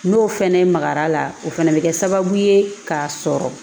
N'o fɛnɛ makar'a la o fana bi kɛ sababu ye ka sɔrɔ